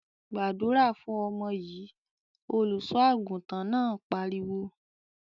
"Gbàdúrà fún ọmọ yìí!" Olùṣọ́-àgùntàn náà pariwo.